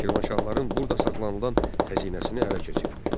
Şirvanşahların burda saxlanılan xəzinəsini ələ keçirdi.